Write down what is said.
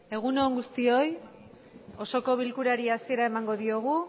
egun on guztioi osoko bilkurari hasiera emango diogu